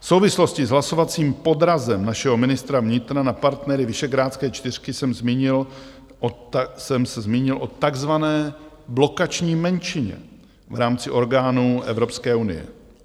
V souvislosti s hlasovacím podrazem našeho ministra vnitra na partnery Visegrádské čtyřky jsem se zmínil o takzvané blokační menšině v rámci orgánů Evropské unie.